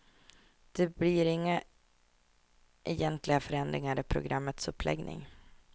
Det blir inga egentliga förändringar i programmets uppläggning.